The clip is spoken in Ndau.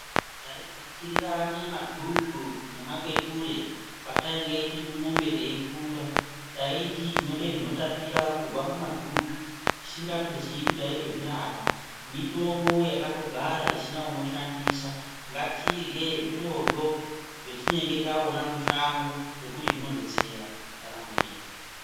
Taivhukurirane madzvutsu nemakweture Patainge tiri kumwombe teikura taiti tinode zvinotapura kubva mumadzvutsvu tisingatozii kuti taito zvirapa mitombo yakatogara isina unoshandisa ngatirye zvirozvo zvatinenge taona mushango ngekuti zvinodetsera ndaramo yedu.